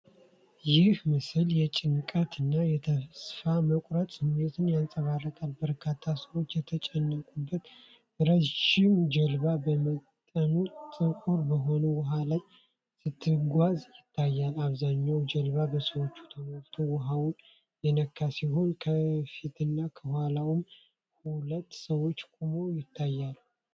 ይህ ምስል የጭንቀት እና የተስፋ መቁረጥ ስሜትን ያንጸባርቃል። በርካታ ሰዎች የተጨናነቁበት ረዥም ጀልባ በመጠኑ ጥቁር በሆነ ውኃ ላይ ስትጓዝ ይታያል። አብዛኛው ጀልባ በሰዎች ተሞልቶ ውሃውን የነካ ሲሆን፣ ከፊትና ከኋላውም ሁለት ሰዎች ቆመው ይታያሉ።